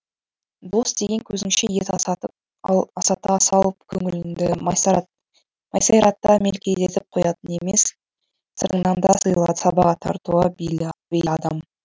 дос деген көзіңше ет асата салып көңіліңді масайрата мелкелдетіп қоятын емес сыртыңнан да сыйлы сабаға тартуға бейіл адам